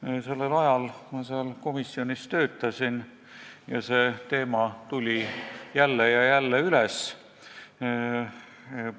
Ma töötasin sellel ajal seal komisjonis, kus see teema tuli jälle ja jälle üles,